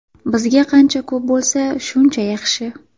Bizga qancha ko‘p bo‘lsa, shuncha yaxshi.